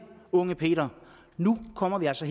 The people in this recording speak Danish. unge peter nu kommer vi altså